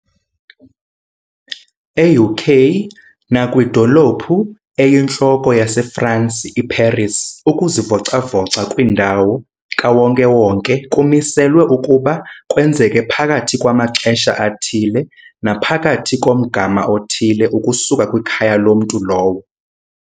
E-UK nakwidolophu eyintloko yase-Fransi, i-Paris, ukuzivoca-voca kwindawo kawonke-wonke kumiselwe ukuba kwenzeke phakathi kwamaxesha athile naphakathi komgama othile ukusuka kwikhaya lomntu lowo.